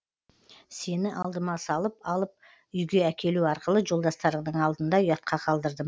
сені алдыма салып алып үйге әкелу арқылы жолдастарыңның алдында ұятқа қалдырдым